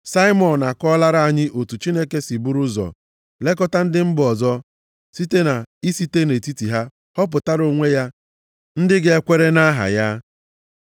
Saimọn akọọlara anyị otu Chineke si buru ụzọ lekọta ndị mba ọzọ site na isite nʼetiti ha họpụtara onwe ya ndị ga-ekwere na aha ya.